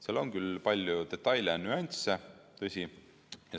Seal on küll palju detaile ja nüansse, tõsi.